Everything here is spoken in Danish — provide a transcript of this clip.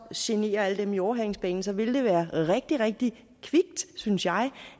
genere alle dem i overhalingsbanen ville det være rigtig rigtig kvikt synes jeg